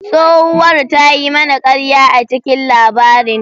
Tsohuwar ta yi mana karya a cikin labarin.